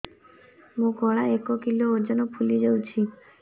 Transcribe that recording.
ମୋ ଗଳା ଏକ କିଲୋ ଓଜନ ଫୁଲି ଯାଉଛି